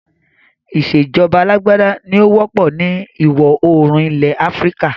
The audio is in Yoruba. Ìsèjọba alàgbàda ní ó wọ́pọ̀ ni ìwọ oòrùn ilẹ̀ Áfríkà